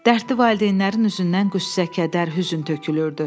Dərdli valideynlərin üzündən qüssə, kədər, hüzn tökülürdü.